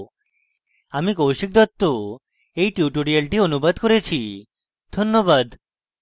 আমি কৌশিক দত্ত tutorial অনুবাদ করেছি ধন্যবাদ